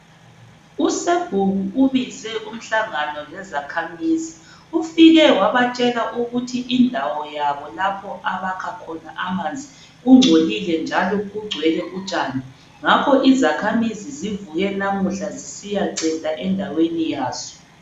Usebhuku ubize umhlangano lezakhamizi. Ufike wabatshela ukuthi indawo yabo lapho abakha khona amanzi kungcolile njalo kugcwele utshani. Ngakho izakhamuzi zivuke lamuhla zisiyacenta endaweni yazo.